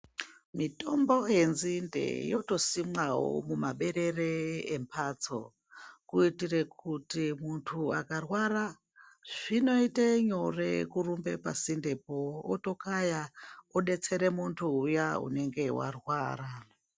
Mitombo yenzinde yotosimwawo mumaberere embatso kuitira kuti muntu angarwara, zvinoite nyore kurumba kuende pasindepo otokaya obetsera muntu uya unenge warwara.